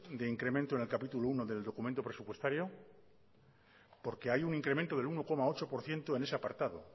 de incremento en el capítulo primero del documento presupuestario porque hay un incremento del uno coma ocho por ciento en ese apartado